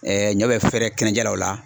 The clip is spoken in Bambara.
ɲɔ bɛ fɛrɛ kɛnɛ jɛ la o la